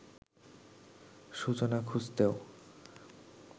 সূচনা খুঁজতেও